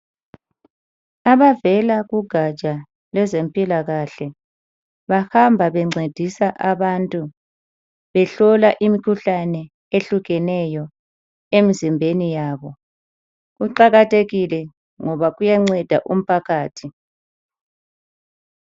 Abavela kugatsha lwezempilakahle babhamba bencedisa abantu behlola imikhuhlane etshiyeneyo emizimbeni yabo. Kuqakathekile ngoba kuyanceda umphakathi.